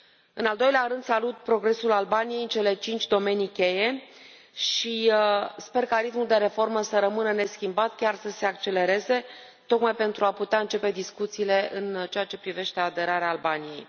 În al doilea rând, salut progresul Albaniei în cele cinci domenii cheie și sper ca ritmul de reformă să rămână neschimbat, chiar să se accelereze, tocmai pentru a putea începe discuțiile în aceea ce privește aderarea Albaniei.